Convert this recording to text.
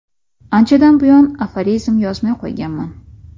Anchadan buyon aforizm yozmay qo‘yganman.